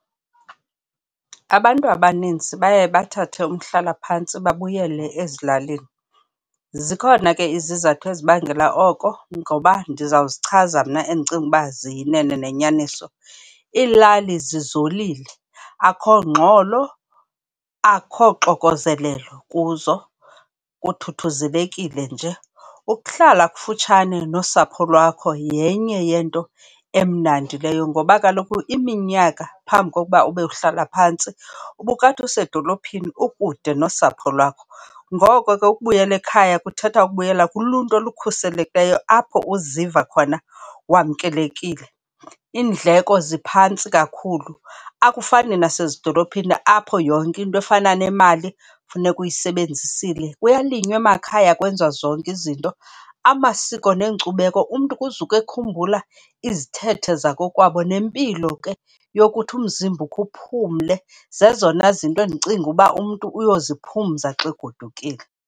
Abantu abaninzi baye bathathe umhlalaphantsi babuyele ezilalini. Zikhona ke izizathu ezibangela oko ngoba ndizawuzichaza mna endicinga uba ziyinene yenyaniso. Iilali zizolile, akho ngxolo, akho xokozelelo kuzo kuthuthuzelekile nje. Ukuhlala kufutshane nosapho lwakho yenye yento emnandi leyo ngoba kaloku iminyaka phambi kokuba ube uhlala phantsi, ubukade usedolophini ukude nosapho lwakho. Ngoko ke ukubuyela ekhaya kuthetha ukubuyela kuluntu olukhuselekileyo apho uziva khona wamkelekile. Iindleko ziphantsi kakhulu akufani nasezidolophini apho yonke into efana nemali funeka uyisebenzisile. Kuyalinywa emakhaya kwenziwa zonke izinto. Amasiko neenkcubeko, umntu kuzuke ekhumbula izithethe zakokwabo nempilo ke yokuthi umzimba ukhe uphumle. Zezona zinto endicinga uba umntu uyoziphumza xa egodukile.